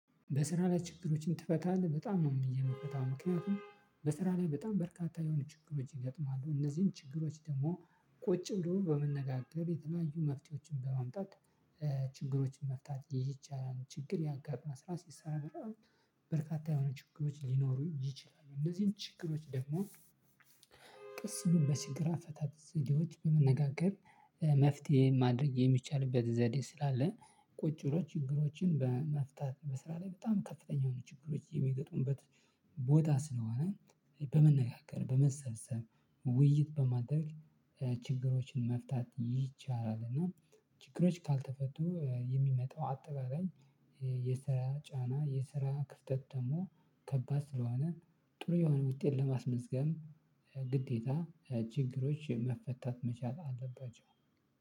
በስራ ላይ ችግሮችን ትፈታለህ? በጣም ነው የምንፈታው ምክንያቱም በስራ ላይ በጣም በርካታ የሆነ ችግሮች ይገጥማሉ እነዚህን ችግሮች ደግሞ ቁጭም ደግሞ በመነጋገር የተለያዩ መፍትሄዎችን በማምጣት ችግሮችን መፍታት ይቻላል። ችግር ያጋጥማል ስራ ሲሰራ። በርካታ የሆነ ችግሮች ሊኖሩ ይችላሉ እነዚህን ችግሮች ደግሞ ቀስ ብሎ በችግር አፈታት ዘዴዎች በመነጋገር መፍትሄ ማድረግ የሚቻልበት ዘዴ ስላለ። ቁጭ ብሎ ችግሮችን በመፍታት በስራ ላይ በጣም ከፍተኛ የሆኑ ችግሮች የሚገጥሙበት ቦታ ስለሆነ በመነጋገር በመሰብሰብ ውይይት በማድረግ ችግሮችን መፍታት ይቻላል። እና ችግሮች ካልተፈቱ የሚመጣው አጠቃላይ የስራ ጫና የስራ ክፍተት ደግሞ ከባድ ስለሆነ። ጥሩ የሆነ ውጤት ለማስመዝገብ ግዴታ ችግሮች መፈታት መቻል አለባቸው።